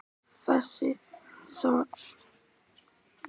Þessi saga var rétt að komast á flug þegar það var bankað.